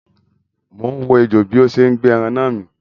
Mo ń wo ejò bí ó ṣe ń gbé ẹran náà mì.